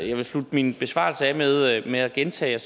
jeg vil slutte min besvarelse af med at med at gentage